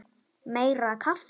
Meira kaffi!